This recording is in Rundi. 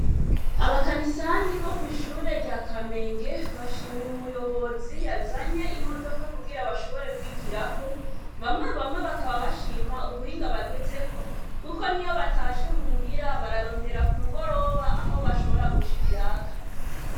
abakanisanyi bo kwishure rya kamenge bashimiye umuyobozi yazanye imodoka kugira bashobore kwigirako bamye bamye bakaba bashima ubuhinga bagezeko kuko niyo batashe muhira barondera kumugoroba aho bashora kuca ibiraka